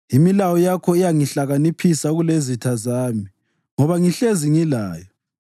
Imilayo yakho iyangihlakaniphisa kulezitha zami, ngoba ngihlezi ngilayo.